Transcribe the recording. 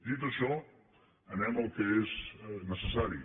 dit això anem al que és necessari